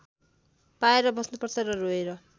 पाएर बस्नुपर्छ र रोएर